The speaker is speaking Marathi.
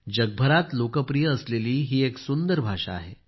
जगभरात लोकप्रिय असलेली ही एक सुंदर भाषा आहे